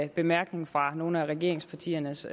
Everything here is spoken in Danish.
bemærkning fra nogle af regeringspartiernes